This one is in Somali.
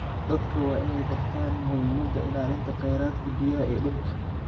Dadka waa in ay bartaan muhiimada ilaalinta khayraadka biyaha iyo dhulka.